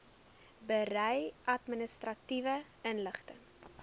berei administratiewe inligting